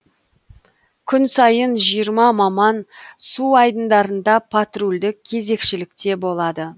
күн сайын жиырма маман су айдындарында патрульдік кезекшілікте болады